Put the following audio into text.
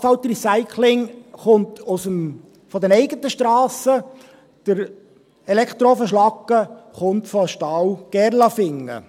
Das Asphaltrecycling kommt von den eigenen Strassen, die Elektroofenschlacke kommt von Stahl Gerlafingen.